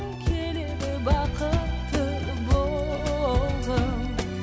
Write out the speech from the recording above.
келеді бақытты болғым